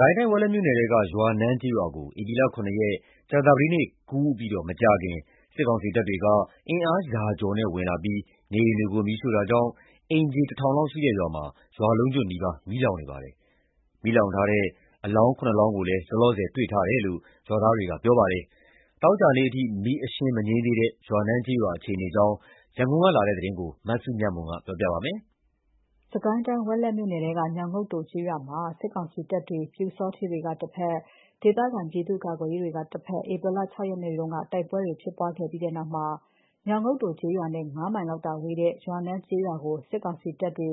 ကိုင်းတိုင်း ဝက်လက်မြို့နယ်ထဲက ရွာနန်းကျေးရွာကို ဧပြီ ၇ ရက် ကြာသပတေးနေ့ကူးပြီးမကြာခင် စစ်ကောင်စီတပ်တွေက အင်အားရာကျော်နဲ့ ဝင်ရောက်လာပြီး နေအိမ်တွေကို မီးရှို့တာကြောင့် အိမ်ခြေ ၁,၀၀၀ လောက်ရှိတဲ့ ရွာလုံးကျွတ်နီးပါး မီးလောင်ကျွမ်းနေပါတယ်။ လောလောဆယ်မှာ မီးလောင်ထားတဲ့ အလောင်း ၇ လောင်းကိုလည်း တွေ့ထားတယ်လို့ ရွာသားတွေက ပြောပါတယ်။ သောကြာနေ့အထိ မီးအရှင်းမငြိမ်းသေးတဲ့ ရွာနန်းကျေးရွာ အခြေအနေအကြောင်း ရန်ကုန်ကလာတဲ့သတင်းကို မစုမြတ်မွန်က တင်ပြပေးထားပါတယ်။ စစ်ကိုင်းတိုင်း ဝက်လက်မြို့နယ်ထဲက ညောင်ငုတ်တိုကျေးရွာမှာ စစ်ကောင်စီတပ် တွေ၊ ပျူစောထီးတွေက တဘက်၊ ဒေသခံ ပြည်သူ့ကာကွယ်ရေးအဖွဲ့တွေက တဘက် ဧပြီလ ၆ ရက်နေ့က တိုက်ပွဲဖြစ်ပွားခဲ့ပြီးနောက် ညောင်ငုတ်တိုကျေးရွာနဲ့ ၅ မိုင်လောက်ဝေးတဲ့ ရွာနန်းကျွေးရွာကို စစ်ကောင်စီတပ်တွေ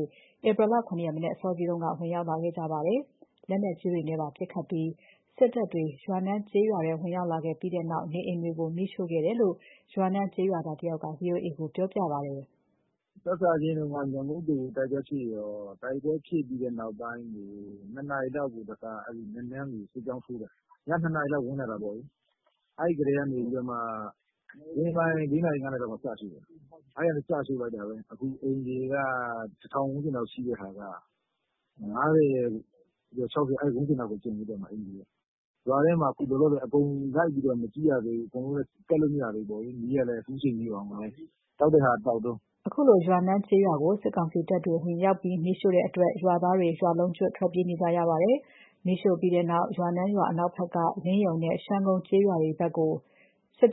ဧပြီလ ၇ ရက် မနက်အစောကြီး ဝင်ရောက်လာခဲ့ကြပါတယ်။ လက်နက်ကြီးတွေနဲ့ပါပစ်ခတ်ပြီး စစ်ကောင်စီတပ်တွေ ရွာနန်းကျေးရွာထဲဝင်လာပြီးနောက် နေအိမ်တွေကို မီးရှို့ခဲ့တယ်လို့ ရွာနန်းကျေးရွာသားတဦးက VOA ကို ပြောပါတယ်။ “စစချင်းက ညောင်ငုတ်တိုမှာ တိုက်ပွဲရှိတော့ တိုက်ပွဲဖြစ်ပြီးတဲ့ နောက်ပိုင်းကို ၂ နာရီလောက် မနက်ကို ရွာနန်းဖက်ကို စစ်ကြောင်းဆွဲတယ်။ ည ၂ နာရီလောက်ကို ဝင်လာတာပေါ့။ အဲ့ဒါပြီးတော့မှ မိုးလင်း ၅ နာရီလောက်မှာ စရှို့တယ်။ အဲဒီကနေ စရှို့လိုက်တာ အခုက အိမ်ခြေက ၁,၀၀၀ ဝန်းကျင်လောက် ရှိတဲ့ဟာက ၅၀၊ ၆၀ အဲဒီ ဝန်းကျင်ပဲ ကျန်တော့မယ် အခုက။ အဲ့မှာ လောလောဆယ် ရွာထဲမှာက အကုန်လိုက်မကြည့်ရသေးဘူး။ မီးကလည်း ခုအချိန်ထိကို တောက်တဲ့ဟာက တောက်တုန်း။” ရွာနန်းကျေးရွာကို စစ်ကောင်စီတပ်တွေ ဝင်ရောက်ပြီး မီးရှို့တဲ့အတွက် ရွာသားတွေ ရွာလုံးကျွတ် ထွက်ပြေးနေကြရပါတယ်။ မီးရှို့ ပြီးတဲ့နောက် ရွာနန်းရွာအနောက်ဘက်က လင်းယဉ်နဲ့ ရှမ်းကုန်း ကျေးရွာတွေဘက်ကို ထွက်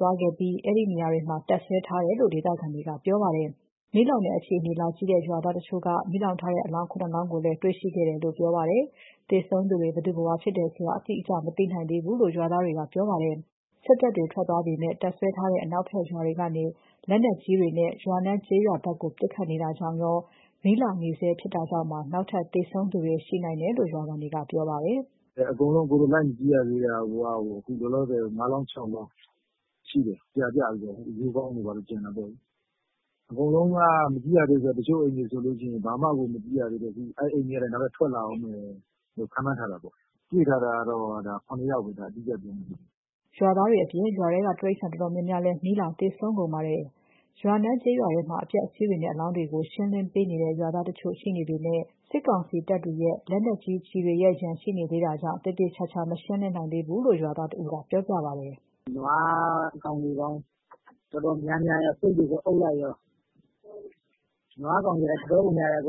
သွားပြီး အဲ့ဒီကျေးရွာတွေမှာ တပ်စွဲထားတယ်လို့ ဒေသခံတွေက ပြောပါတယ်။ မီးလောင်တဲ့အခြေအနေလာကြည့်တဲ့ရွာသားတချို့က မီးလောင်ထားတဲ့အလောင်း ၇ လောင်းကိုလည်း တေ့ွရှိခဲ့တယ်လို့ ပြောပါတယ်။ သေဆုံးသူတွေ ဘယ်သူ ဘယ်ဝါတွေဖြစ်တယ်ဆိုတာ အတိအကျ မသိနိုင်သေးဘူးလို့ ရွာသားတွေက ပြောပါတယ်။ စစ်တပ်တွေ ထွက်သွားပေမယ့် တပ်စွဲထားတဲ့ အနောက်ဘက် ရွာတွေကနေ လက်နက်ကြီးတွေနဲ့ ရွာနန်းကျေးရွာဘက်ကို ပစ်နေတာကြောင့်ရော မီးလောင်နေဆဲဖြစ်တာကြောင့်ပါ နောက်ထပ်သေဆုံးသူတွေ ရှိနိုင်တယ်လို့ ရွာခံကပြောပါတယ်။ “အကုန်လုံး ကျနော်တို့ လိုက်မကြည့်ရသေးတာကိုတောင် ၅ လောင်း ၆ လောင်းရှိတယ်။ အကုန်ပြာကျပြီး အရိုးခေါင်းတွေ ဘာတွေတော့ ကျန်တာပေါ့လေ။ အကုန် လုံးက မကြည့်ရသေးဘူး။ မကြည့်ရသေးဘူးဆိုတာက မီးတွေကြောင့် တချို့အိမ်တွေကလည်း လုံးဝကို မကြည့်ရသေးဘူး။ အဲ့အိမ်တွေကလည်း နောက်ထပ်ထွက် လာအုံးမယ်လို့ ခန့်မှန်းထားတယ်ပေါ့။ ခုတွေ့ထားတာ အတိအကျကတော့ ၇ ယောက်ဗျ။” ရွာသားအပြင် ရွာထဲက တိရစ္ဆာန်တော်တော်များများလည်း မီးလောင်သေဆုံးကုန် ပါတယ်။ ရွာနန်းရွာထဲမှာ အပျက်အစီးတွေနဲ့ အလောင်းတွေကို ရှင်းလင်းပေးနေတဲ့ ရွာသားတချို့ ရှိနေပေမယ့် စစ်ကောင်စီတပ်တွေရဲ့ လက်နက်ကြီးနဲ့ ရမ်းသမ်း ပစ်ခတ်မှုတွေကြောင့် သေသေချာချာ မဆောင်ရွက်နိုင်သေးဘူးလို့ ရွာသားတဦးက ပြောပါတယ်။ “နွားအကောင်ရေပေါင်း အတော်များများရော ဆိတ်တွေ အုပ်လိုက်ရော။ နွားကောင်ရေက တော်တော်ကို များတယ်၊ အခု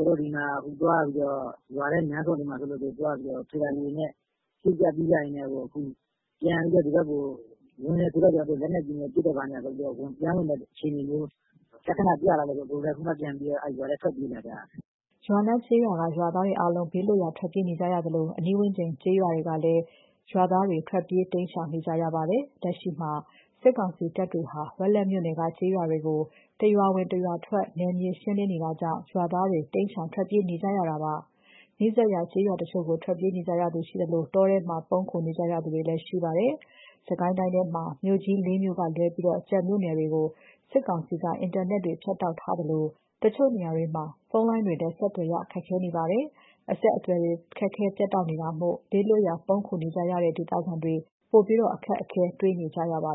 သွားပြီးတော့ ရွာထဲလမ်းဆုံတွေမှာတွေ့လို့ သွားပြီးတော့ ထွေလာဂျီတွေနဲ့ သယ်ကြ ရွေ့ကြရင်းနဲ့ကို အခု ပြန်ပြီးတာ့ အခု ဒီဘက်ကို လူမြင်တယ်ဆိုပြီးတော့ လက်နက်ကြီးနဲ့ ပစ်ပြီးတော့ ပြန်ဝင်မယ့်အခြေအနေမျိုး လက္ခဏာပြလာတာကြောင့်မို့လို့ ကျနော်တို့လည်း အခုပဲရွာထဲက ပြန်ပြီး ထွက်ပြေးလာကြရတယ်။” ရွာနန်းကျေးရွာက ရွာသားတွေအားလုံး ဘေးလွတ်ရာထွက်ပြေးနေကြရသလို အနီးဝန်းကျင်က ကျေးရွာတွေက ရွာသားတွေလည်း ထွက်ပြေးတိမ်းရှောင်နေကြရပါတယ်။ လက်ရှိမှာ စစ်ကောင်စီတပ်တွေဟာ ဝက်လက်မြို့နယ်က ကျေးရွာတွေကို နယ်မြေရှင်းလင်းရေး ပုံစံ စစ်ဆင်ရေးတွေ တရွာဝင်တရွာထွက် လုပ်နေတာကြောင့် ရွာသားတွေ ထွက်ပြေးတိမ်းရှောင် နေကြရတာဖြစ်ပါတယ်။ နီးစပ်ရာ ကျေးရွာတချို့ကို ထွက်ပြေးကြသူတွေ ရှိသလို တောထဲမှာ ပုန်းခိုနေကြရတဲ့ သူတွေလည်း ရှိကြပါတယ်။ စစ်ကိုင်းတိုင်းထဲက မြို့ကြီး ၄ မြို့ကလွဲပြီး ကျန်မြို့နယ်တွေကို စစ်ကောင်စီက အင်တာနက် ဖြတ်တောက်ထားသလို အချို့နေရာတွေမှာ ဖုန်းလိုင်းတွေလည်း ဆက်သွယ်ရ ခက်ခဲနေပါတယ်။ အဆက်အသွယ်တွေ ခက်ခဲပြတ်တောက်နေတာမို့ ဘေးလွတ်ရာ ပုန်းခိုနေကြရတဲ့ ဒေသခံတွေ ပိုပြီးအခက်အခဲ တေ့ွနေကြပါ